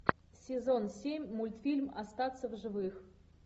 сезон семь мультфильм остаться в живых